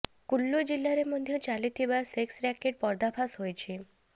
କୁଲ୍ଲୁ ଜିଲ୍ଲାରେ ମଧ୍ୟ ଚାଲିଥିବା ସେକ୍ସ ରାକେଟ୍ର ପର୍ଦ୍ଦାଫାଶ ହୋଇଛି